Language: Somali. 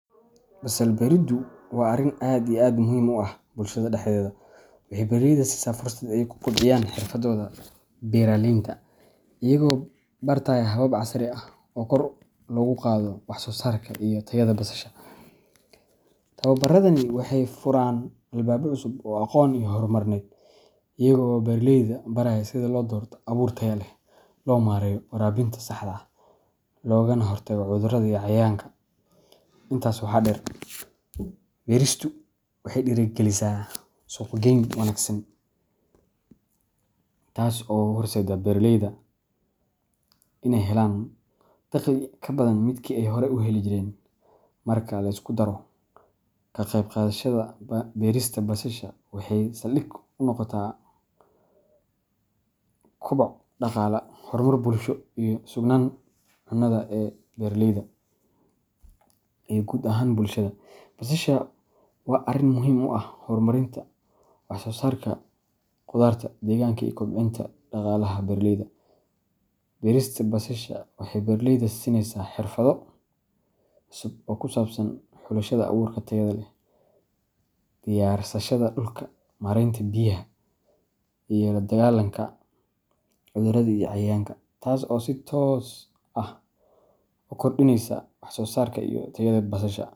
Basal beridu waa arin aad iyo aad muhim u ah bulshada dexdedha, waxay beeraleyda siisaa fursad ay ku kobciyaan xirfadahooda beeralaynta, iyagoo bartaya habab casri ah oo kor loogu qaado wax soo saarka iyo tayada basasha. Tababaradani waxay furaan albaabo cusub oo aqoon iyo horumarineed, iyaga oo beeraleyda baraya sida loo doorto abuur tayo leh, loo maareeyo waraabinta saxda ah, loogana hortago cudurrada iyo cayayaanka. Intaas waxa dheer, beristu waxay dhiirrigelisaa suuq geyn wanaagsan, taas oo u horseedda beeraleyda inay helaan dakhli ka badan midkii ay hore u heli jireen. Marka la isku daro, kaqeybqaadashada berista basasha waxay saldhig u noqotaa koboc dhaqaale, horumar bulsho, iyo sugnaanta cunnada ee beeraleyda iyo guud ahaan bulshada. Basasha waa arrin muhiim u ah horumarinta wax soo saarka khudarta deegaanka iyo kobcinta dhaqaalaha beeraleyda. Berista basasha waxay beeraleyda siinaysaa xirfado cusub oo ku saabsan xulashada abuurka tayada leh, diyaarsashada dhulka, maaraynta biyaha, iyo la dagaalanka cudurrada iyo cayayaanka, taas oo si toos ah u kordhinaysa wax soo saarka iyo tayada basasha.